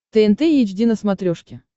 тнт эйч ди на смотрешке